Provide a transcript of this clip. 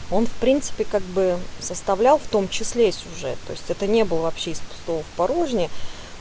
он в принципе как бы составлял в том числе сюжет то есть это не было вообще из пустого в порожнее